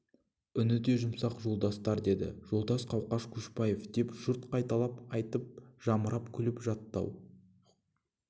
үні де жұмсақ жолдастар деді жолдас қауқаш көшекбаев деп жұрт қайталап айтып жамырап күліп жатты ау